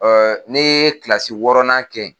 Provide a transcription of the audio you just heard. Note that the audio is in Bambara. ni ye kilasi wɔɔrɔ nan kɛ ye.